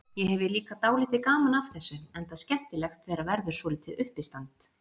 Ég hefi líka dálítið gaman af þessu, enda skemmtilegt þegar verður svolítið uppistand.